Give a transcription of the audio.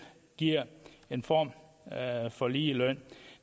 giver en form for ligeløn